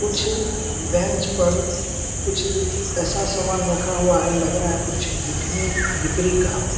कुछ बेंच पर कुछ ऐसा सामान रखा हुआ है लग रहा है कुछ बिकने बिक्री का हो।